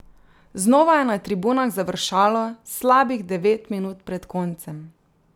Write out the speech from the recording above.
Znova je na tribunah završalo slabih devet minut pred koncem.